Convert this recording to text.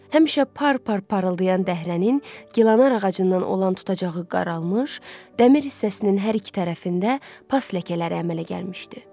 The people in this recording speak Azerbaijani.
Həmişə par-par parıldayan dəhrənin, gilanar ağacından olan tutacağı qaralmış, dəmir hissəsinin hər iki tərəfində pas ləkələri əmələ gəlmişdi.